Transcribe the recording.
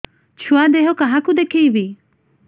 ଛୁଆ ଦେହ କାହାକୁ ଦେଖେଇବି